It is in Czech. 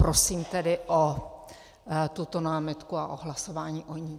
Prosím tedy o tuto námitku a o hlasování o ní.